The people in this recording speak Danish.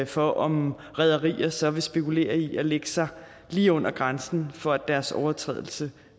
for om rederier så vil spekulere i at lægge sig lige under grænsen for at deres overtrædelse